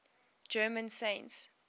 german saints